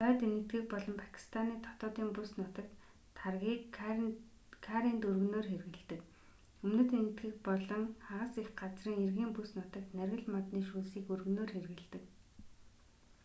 хойд энэтхэг болон пакистаны дотоодын бүс нутагт таргийг карринд өргөнөөр хэрэглэдэг өмнөд энэтхэг болон хагас эх газрын эргийн бүс нутагт наргил модны шүүсийг өргөнөөр хэрэглэдэг